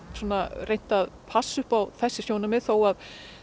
reynt að passa upp á þessi sjónarmið þótt